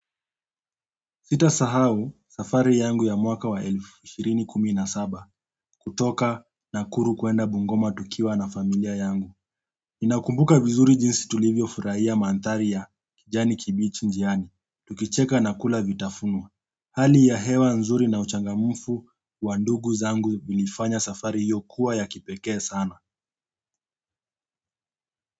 Sitasahau safari yangu ya mwaka wa elfu shirini kumi na saba kutoka nakuru kuenda bungoma tukiwa na familia yangu. Ninakumbuka vizuri jinsi tulivyo furahia manthari ya kijani kibichi njiani tukicheka na kula vitafunio hali ya hewa nzuri na uchangamufu wa ndugu zangu zilifanya safari hiyo kuwa ya kipekee sana.